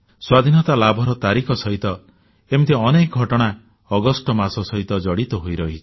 ସ୍ୱାଧୀନତା ପ୍ରାପ୍ତିର ତାରିଖ ସହିତ ଏମିତି ଅନେକ ଘଟଣା ଅଗଷ୍ଟ ମାସ ସହିତ ଜଡ଼ିତ ହୋଇ ରହିଛି